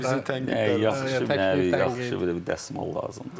yaxşı, nə, yaxşı, belə bir dəsmal lazımdır.